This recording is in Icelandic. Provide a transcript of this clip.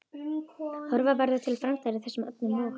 Horfa verði til framtíðar í þessum efnum og?